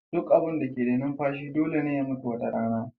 Duk abin da ke da numfashi dole ne ya mutu wata rana